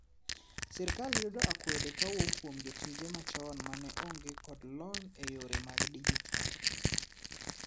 sirkal yudo akwede kawuok kuom jotije machon mane onge kod lony e yore mag dijital